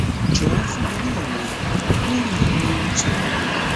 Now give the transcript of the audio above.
jọwọ fún mi ní ìmọràn lórí àwọn ewu tó wà níbẹ